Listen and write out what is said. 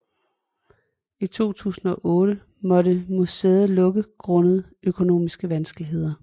I 2008 måtte museet lukke grundet økonomiske vanskeligheder